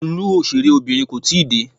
Olú òṣèré Obìnrin kò tíì dé.